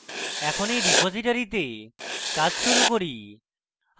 এখন এই রিপোজিটরীতে কাজ শুরু করি